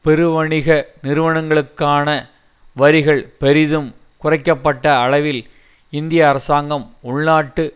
பெருவணிக நிறுவனங்களுக்கான வரிகள் பெரிதும் குறைக்க பட்ட அளவில் இந்திய அரசாங்கம் உள்நாட்டு